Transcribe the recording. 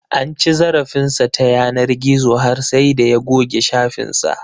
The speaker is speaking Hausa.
An ci zarafin sa ta yanar gizo har sai da ya goge shafin sa